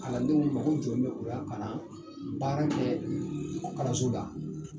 Kalandenw mɔgɔ jɔn bɛ u y'a kalan? baara kɛɛ ko kalanso la